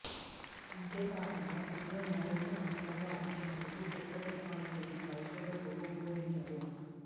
అంతేకాకుండా సిగ్నల్ మరింత నాణ్యతగా ఉంచేందుకు కొత్త టెక్నాలజీని పరిశోధకులు ఉపయోగించారు